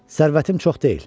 Sərvətim çox deyil.